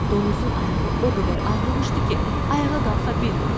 Donuzun ayağı o qədər ağrımışdı ki, ayağa qalxa bilmirdi.